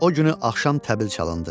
O günü axşam təbil çalındı.